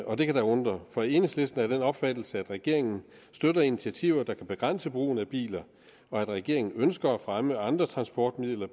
og det kan da undre for enhedslisten er af den opfattelse at regeringen støtter initiativer der kan begrænse brugen af biler og at regeringen ud ønsker at fremme andre transportmidler